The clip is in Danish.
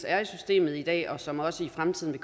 er i systemet i dag og som også i fremtiden